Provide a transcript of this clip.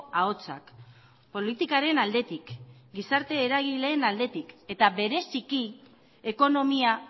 ahotsak politikaren aldetik gizarte eragileen aldetik eta bereziki ekonomia